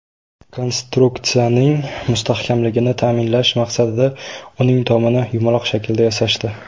Konstruksiyaning mustahkamligini ta’minlash maqsadida uning tomini yumaloq shaklda yasashdi.